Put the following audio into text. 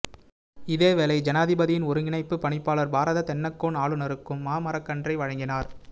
இதேவேளை ஜனாதிபதியின் ஒருங்கிணைப்பு பணிப்பாளர் பாரத தென்னக்கோன் ஆளுநருக்கும் மா மரக்கன்றை வழங்கினார்